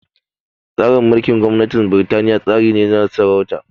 Tsarin gwamnatin Birtaniya tsari ne na sarauta